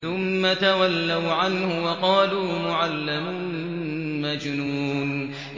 ثُمَّ تَوَلَّوْا عَنْهُ وَقَالُوا مُعَلَّمٌ مَّجْنُونٌ